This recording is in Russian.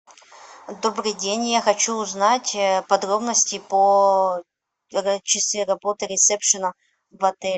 добрый день я хочу узнать подробности по часы работы ресепшена в отеле